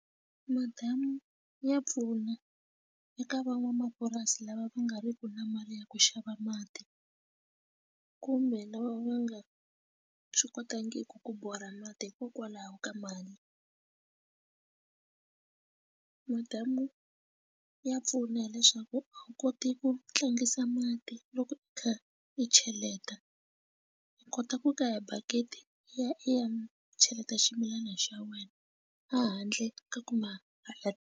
Madamu ya pfuna eka van'wamapurasi lava va nga riki na mali ya ku xava mati kumbe lava va nga swi kotangi ku borha mati hikokwalaho ka mali madamu ya pfuna leswaku a wu koti ku tlangisa mati loko i kha i cheleta i kota ku ka bakiti i ya i ya cheleta ximilana xa wena a handle ka ku ma ka ya.